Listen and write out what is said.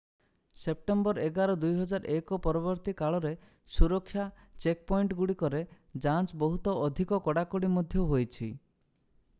September 11 2001 ପରବର୍ତ୍ତୀ କାଳରେ ସୁରକ୍ଷା ଚେକପଏଣ୍ଟଗୁଡ଼ିକରେ ଯାଞ୍ଚ ବହୁତ ଅଧିକ କଡ଼ାକଡ଼ି ମଧ୍ୟ ହୋଇଛିi